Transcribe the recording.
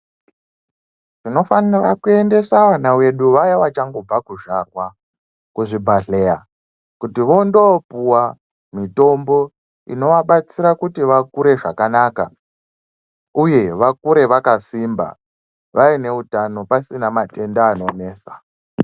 Tinofanira kuendesa vana vedu vaya vachangobva kuzvarwa, kuzvibhadhleya, kuti vandoopuwa mitombo inovabatsira kuti vakure zvakanaka uye vakure, vakasimba, vaine utano, pasina matenda anonesa.